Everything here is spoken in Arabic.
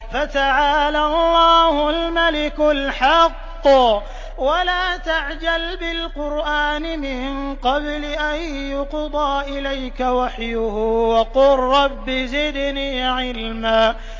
فَتَعَالَى اللَّهُ الْمَلِكُ الْحَقُّ ۗ وَلَا تَعْجَلْ بِالْقُرْآنِ مِن قَبْلِ أَن يُقْضَىٰ إِلَيْكَ وَحْيُهُ ۖ وَقُل رَّبِّ زِدْنِي عِلْمًا